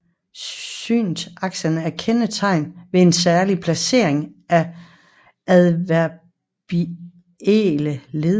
Syntaksen er kendetegnet ved en særlig placering af adverbielle led